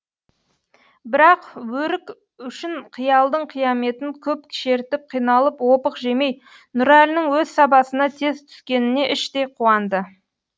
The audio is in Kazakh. бірақ өрік үшін қиялдың қияметін көп шертіп қиналып опық жемей нұрәлінің өз сабасына тез түскеніне іштей қуанды